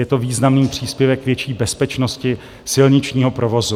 Je to významný příspěvek k větší bezpečnosti silničního provozu.